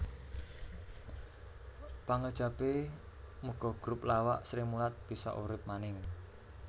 Pangajapé muga grup lawak Srimulat bisa urip maning